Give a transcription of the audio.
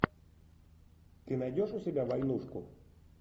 ты найдешь у себя войнушку